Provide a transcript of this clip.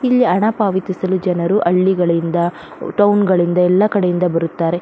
ಇಲ್ಲಿ ಅನ್ ಪಾವತಿಸಲು ಜನರು ಹಳ್ಳಿಗಳಿಂದ ಟೌನ್ ಗಳಿಂದ ಎಲ್ಲ ಕಡೆಯಿಂದ ಬರುತ್ತಾರೆ.